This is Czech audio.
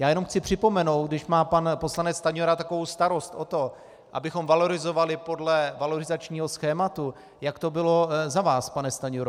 Já jen chci připomenout, když má pan poslanec Stanjura takovou starost o to, abychom valorizovali podle valorizačního schématu, jak to bylo za vás, pane Stanjuro.